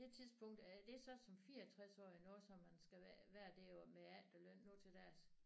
Det tidspunkt er det så som 64 årig nu som man skal være hvad er det jo med efterløn nu til dags